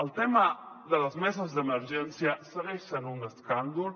el tema de les meses d’emergència segueix sent un escàndol